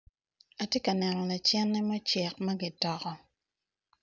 Atye ka neno lacene mucek magitoko.